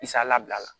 Misala bila la